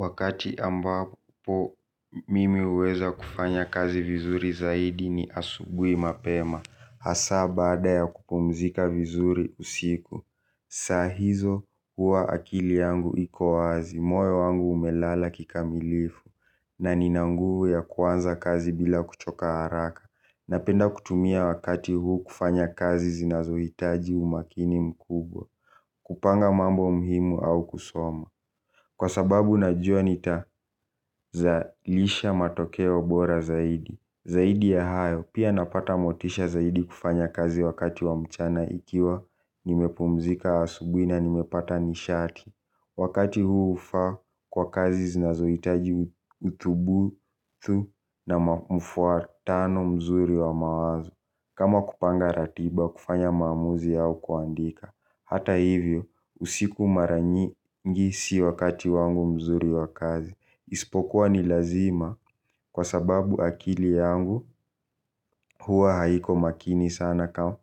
Wakati ambapo mimi huweza kufanya kazi vizuri ni asubuhi mapema hasaa baada ya kupumzika vizuri usiku. Saa hizo huwa akili yangu iko wazi, moyi wangu umelala kikamilifu na nina nguvu ya kuanza kazi bila kuchoka haraka napenda kutumia wakati huu kufanya kazi zinazohitaji umakini mkubwa. Kupanga mambo muhimu au kusoma kwa sababu najua nita zalisha matokeo bora zaidi. Zaidi ya hayo pia napata motisha zaidi kufanya kazi wakati wa mchana ikiwa nimepumzika asubuhi na nimepata nishati. Wakati huu hufaa kwa kazi zinazohitaji utubuu tu na mfuatano mzuri wa mawazo. Kama kupanga ratiba kufanya maamuzi au kuandika hata hivyo usiku mara nyingi si wakati wangu mzuri wa kazi. Ispokuwa ni lazima kwa sababu akili yangu huwa haiko makini sana kama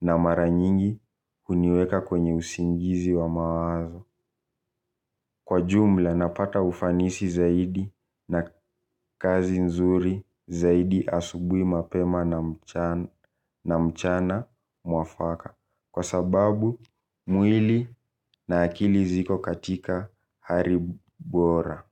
na mara nyingi huniweka kwenye usingizi wa mawazo. Kwa jumla napata ufanisi zaidi na kazi nzuri zaidi asubuhi mapema na mchana mwafaka. Kwa sababu mwili na akili ziko katika hali bora.